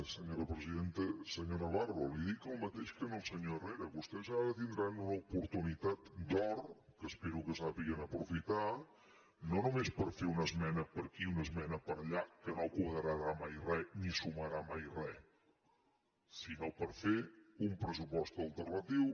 senyor navarro li dic el mateix que al senyor herrera vostès ara tindran una oportunitat d’or que espero que sàpiguen aprofitar no només per fer una esmena per aquí una esmena per allà que no quadrarà mai res ni sumarà mai res sinó per fer un pressupost alternatiu